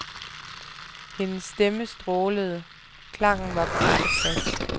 Hendes stemme strålede, klangen var på rette plads.